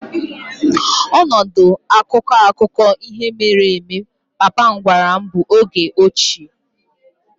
Ọnọdụ akụkọ akụkọ ihe mere eme papa m gwara m bụ oge ochie.